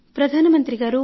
ప్రధాన మంత్రి గారు